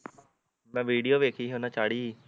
ਮੈਂ ਵੀਡੀਓ ਦੇਖੀ ਸੀ ਓਹਨਾਂ ਚਾੜੀ ਸੀ